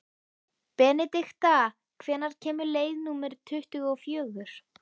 Benedikta, hvenær kemur leið númer tuttugu og fjögur?